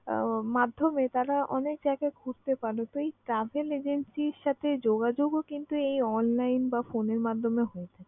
আহ মাধ্যমে তারা অনেক জায়গায় ঘুরতে পারে। তো এই travel agency র সাথে যোগাযোগও কিন্তু এই online বা phone এর মাধ্যমে হয়।